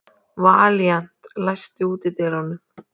Valíant, læstu útidyrunum.